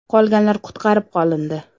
Qolganlar qutqarib qolindi.